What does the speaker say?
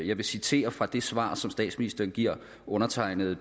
jeg vil citere fra det svar som statsministerens giver undertegnede